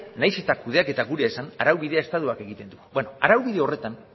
nahiz eta kudeaketa gure esan araubidea estatuak egiten du beno araubide horretan